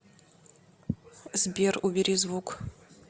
сбер убери звук